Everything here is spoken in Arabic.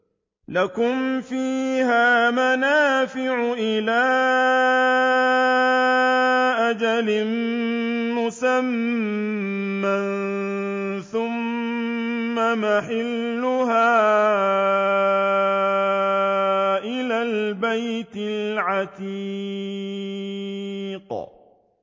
لَكُمْ فِيهَا مَنَافِعُ إِلَىٰ أَجَلٍ مُّسَمًّى ثُمَّ مَحِلُّهَا إِلَى الْبَيْتِ الْعَتِيقِ